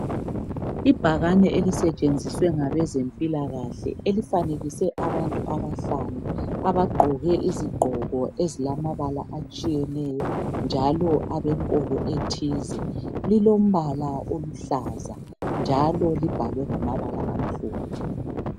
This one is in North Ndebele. Ibhakane eoisetshenziswe ngabezempilakahle. Elifanekiswe abantu abahlanu. Abagqoke izigqoko ezilamabala atshiyeneyo, njalo abenkolo ethize. Lilombala oluhlaza, njalo libhalwe ngamabala amhlophe.